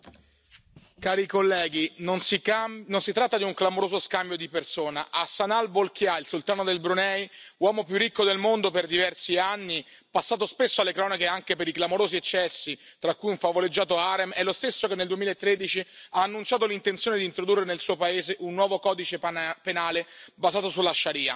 Signor Presidente, onorevoli colleghi, non si tratta di un clamoroso scambio di persona, Hassanal Bolkiah, il sultano del Brunei, uomo più ricco del mondo per diversi anni, passato spesso alle cronache anche per i clamorosi eccessi tra cui un favoleggiato harem, è lo stesso che nel 2013 ha annunciato l'intenzione di introdurre nel suo paese un nuovo codice penale basato sulla